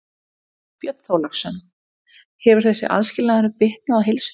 Björn Þorláksson: Hefur þessi aðskilnaður bitnað á heilsu þinni?